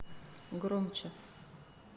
громче